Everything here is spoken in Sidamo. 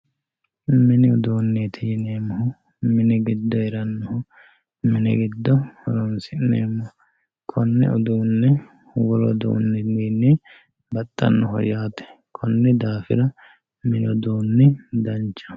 Mini uduuneti yinemohu mini giddo heeranoho mini giddo horonsinemoho konne uduune wolu uduniwiini baxanoho yaate koni daafira mini uduuni danchaho.